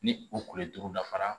Ni u kule turu dafara